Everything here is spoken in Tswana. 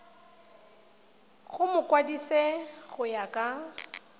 go mokwadise go ya ka